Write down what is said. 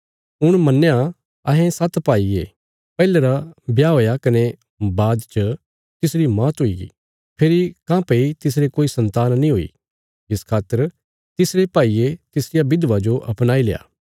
हुण मन्ना अहें सात्त भाई ये पैहले रा ब्याह हुया कने बाद च तिसरी मौत हुईगी फेरी काँह्भई तिसरे कोई सन्तान नीं हुई इस खातर तिसरे भाईये तिसरिया बिधवा जो अपणाईल्या